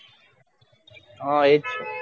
હા એ જ છ